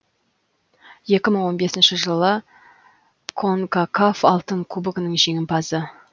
екі мың он бесінші жылы конкакаф алтын кубогының жеңімпазы